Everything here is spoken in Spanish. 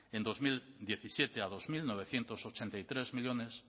en dos mil diecisiete a dos mil novecientos ochenta y tres millónes